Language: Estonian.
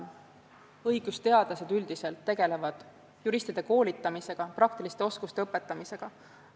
Õigusteadlased tegelevad juristide koolitamisega, praktiliste oskuste õpetamisega.